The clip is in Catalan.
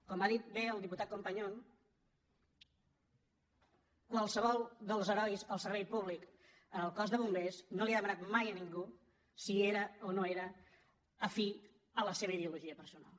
com bé ha dit el diputat companyon qualsevol dels herois al servei públic en el cos de bombers no li ha demanat mai a ningú si era o no era afí a la seva ideologia personal